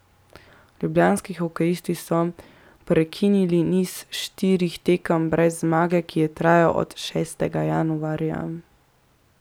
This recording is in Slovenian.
Ljubljanski hokejisti so prekinili niz štirih tekem brez zmage, ki je trajal od šestega januarja.